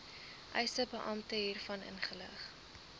eisebeampte hiervan inlig